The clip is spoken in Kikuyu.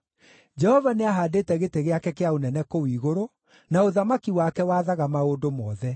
Jehova nĩahaandĩte gĩtĩ gĩake kĩa ũnene kũu igũrũ, na ũthamaki wake wathaga maũndũ mothe.